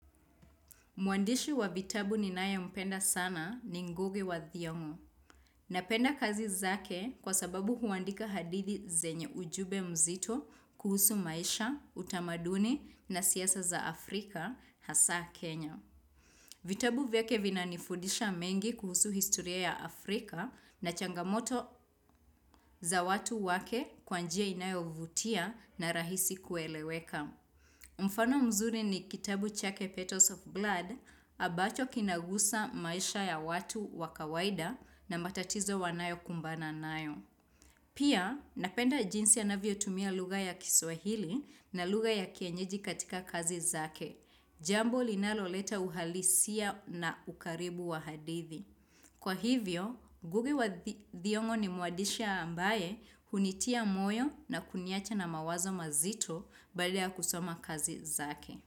Mwandishi wa vitabu ni naye mpenda sana ni ngugi wa thiongo. Napenda kazi zake kwa sababu huandika hadithi zenye ujube mzito kuhusu maisha, utamaduni na siasa za Afrika, hasa Kenya. Vitabu vyake vinanifudisha mengi kuhusu historia ya Afrika na changamoto za watu wake kwa njia inayo vutia na rahisi kueleweka. Mfano mzuri ni kitabu chake Petals of Blood abacho kinagusa maisha ya watu wakawaida na matatizo wanayokumbana nayo. Pia napenda jinsi anavyo tumia lugha ya kiswahili na lugha ya kienyeji katika kazi zake. Jambo linalo leta uhalisia na ukaribu wa hadithi. Kwa hivyo, ng5ugi wa thiongo ni muadisha ambaye hunitia moyo na kuniacha na mawazo mazito baada ya kusoma kazi zake.